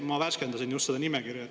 Ma värskendasin just seda nimekirja.